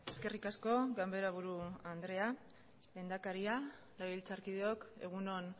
eskerrik asko ganberaburu andrea lehendakaria legebiltzarkideok egun on